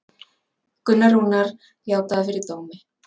Gunnar Rúnar játaði fyrir dómi